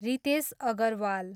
Ritesh Agarwal